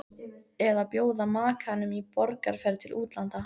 Eða að bjóða makanum í borgarferð til útlanda.